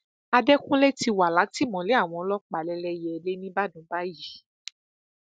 àdekùnlé ti wà látìmọlé àwọn ọlọpàá lẹlẹyẹlélẹ nìbàdàn báyìí